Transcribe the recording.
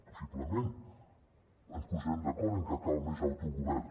possiblement ens posarem d’acord en que cal més autogovern